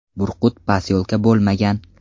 Burqut posyolka bo‘lmagan.